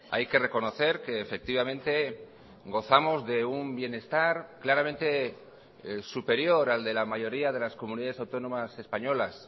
hay que reconocer que efectivamente gozamos de un bienestar claramente superior al de la mayoría de las comunidades autónomas españolas